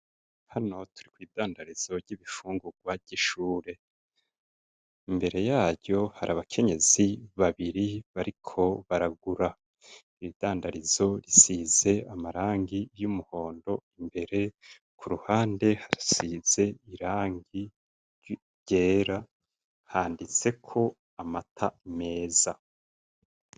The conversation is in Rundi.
Hano turi mw'idandarizo ry'ibifungurwa ry'ishure, imbere yaryo hari abakenyezi babiri bariko baragura. Iryo dandarizo risize amarangi y'umuhondo imbere ku ruhande hasize irangi ryera handitseko amata meza.